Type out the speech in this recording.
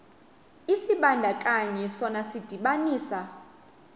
isibandakanyi sona sidibanisa